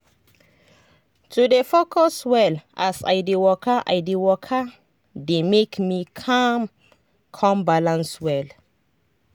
to dey focus well as i dey waka i dey waka dey make me calm con balance well.